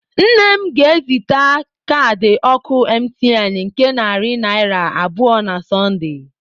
Nne m ga-ezite kaadị oku Mtn nke narị naira abụọ na Sọnde.